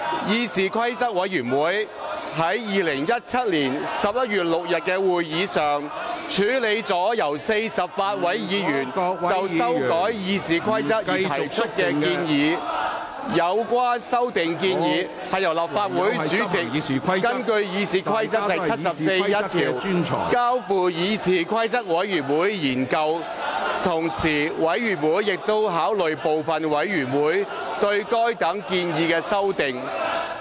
議事規則委員會在2017年11月6日的會議上，處理了由48位議員就修改《議事規則》而提出的建議，有關修訂建議是由立法會主席根據《議事規則》第741條，交付議事規則委員會研究，同時委員會亦已考慮部分委員會對該等建議的修訂。